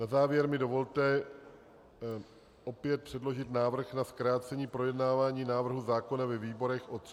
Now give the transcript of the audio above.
Na závěr mi dovolte opět předložit návrh na zkrácení projednávání návrhu zákona ve výborech o 30 dnů.